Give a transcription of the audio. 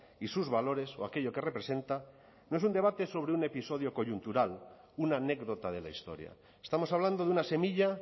y sus valores o aquello que representa no es un debate sobre un episodio coyuntural una anécdota de la historia estamos hablando de una semilla